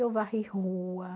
Eu varri rua.